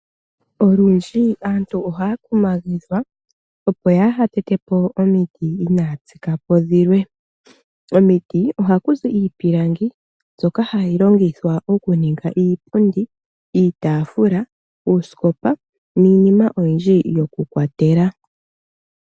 Olundji aantu ohaa kumagidhwa, opo k yaa ha tete po omiti; inaa ya tsika po dhilwe. Omiti oha ku zi iipilangi, mbyoka ha yi longithwa oku ninga iipundi, iitaafula, uusikopa niinima oyindji yoku kwatela.